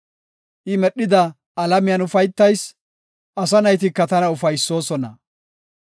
I medhida alamiyan ufaytayis; asa naytika tana ufaysoosona.